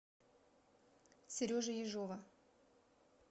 сережи ежова